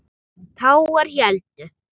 Tágar héldu.